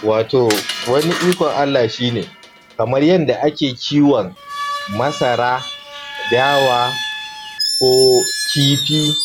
Wato wani ikon Allah shine, kamar yadda ake kiwon masara dawa, ko kifi,